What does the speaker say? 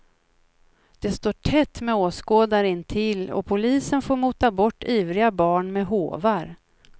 Det står tätt med åskådare intill, och polisen får mota bort ivriga barn med håvar.